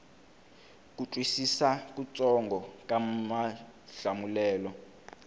ku twisisa kutsongo ka mahlamulelo